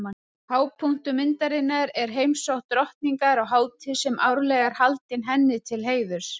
Hápunktur myndarinnar er heimsókn drottningar á hátíð sem árlega er haldin henni til heiðurs.